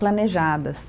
planejadas.